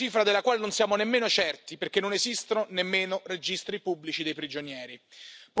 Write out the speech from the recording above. Una cifra della quale non siamo nemmeno certi perché non esistono nemmeno registri pubblici dei prigionieri.